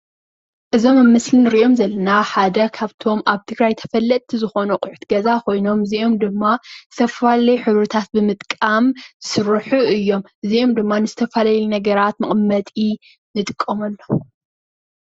እዞም ኣብ ምስሊ እንርእዮም ዘለና ሓደ ካብቶም ኣብ ትግራይ ተፈለጥቲ ዝኮኑ ኣቁሑት ገዛ ኮይኖም እዝይኦም ድማ ዝተፈላለዩ ሕብርታት ብምጥቃም ዝስርሑ እዮም። እዚኦም ድማ ዝተፈላለዩ ነገራት መቀመጢ ንጥቀመሎም።